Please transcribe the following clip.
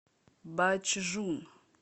бачжун